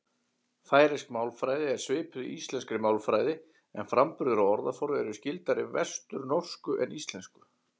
Færeysk málfræði er svipuð íslenskri málfræði en framburður og orðaforði er skyldari vesturnorsku en íslensku.